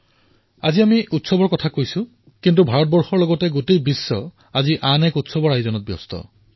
আজি যেতিয়া আমি উৎসৱৰ চৰ্চা কৰি আছো ভাৰতে আন এক বৃহৎ উৎসৱ প্ৰস্তুতিৰ দিশত ধাৱমান হৈছে সমগ্ৰ বিশ্বতে ইয়াৰ চৰ্চা হৈছে